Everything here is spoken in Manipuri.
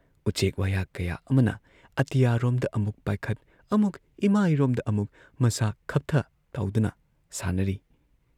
ꯎꯆꯦꯛ ꯋꯥꯌꯥ ꯀꯌꯥ ꯑꯃꯅ ꯑꯇꯤꯌꯥꯔꯣꯝꯗ ꯑꯃꯨꯛ ꯄꯥꯏꯈꯠ ꯑꯃꯨꯛ ꯏꯃꯥꯏꯔꯣꯝꯗ ꯑꯃꯨꯛ ꯃꯁꯥ ꯈꯞꯊ ꯇꯧꯗꯨꯅ ꯁꯥꯟꯅꯔꯤ ꯫